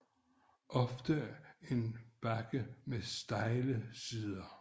Ofte en bakke med stejle sider